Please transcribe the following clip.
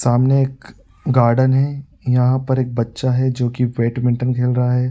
सामने एक गार्डन है। यहाँ पर एक बच्‍चा है जो कि बेडमिंटन खेल रहा है।